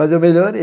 Mas eu melhorei.